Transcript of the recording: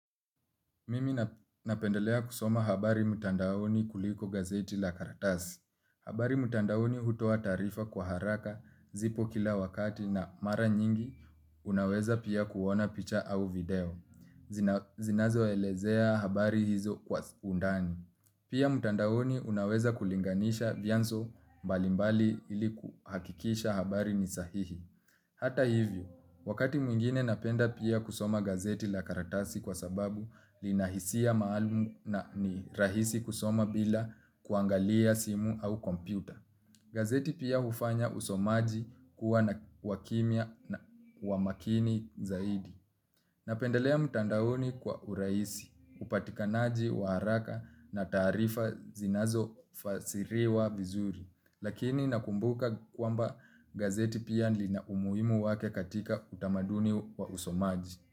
Mimi napendelea kusoma habari mtandaoni kuliko gazeti la karatasi. Habari mtandaoni hutoa taarifa kwa haraka zipo kila wakati na mara nyingi. Habari mtandaoni hutoa taarifa kwa haraka zipo kila wakati na mara nyingi unaweza pia kuona picha au video. Zinazoelezea habari hizo kwa undani. Habari mtandaoni hutoa taarifa kwa haraka zipo kila wakati na mara nyingi. Hata hivyo, wakati mwingine napenda pia kusoma gazeti la karatasi kwa sababu lina hisia maalumu na ni rahisi kusoma bila kuangalia simu au kompyuta. Gazeti pia hufanya usomaji kuwa na wa kimia na umakini zaidi. Napendelea mtandaoni kwa urahisi, upatikanaji wa haraka na taarifa zinazofasiriwa vizuri.